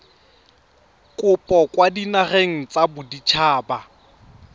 kopo kwa dinageng tsa baditshaba